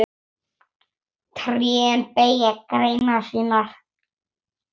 Trén beygja greinar sínar.